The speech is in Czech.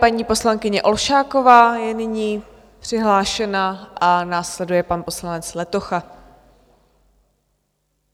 Paní poslankyně Olšáková je nyní přihlášena a následuje pan poslanec Letocha.